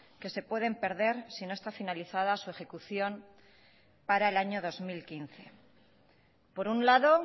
que se pueden perder si no está finalizada su ejecución para el año dos mil quince por un lado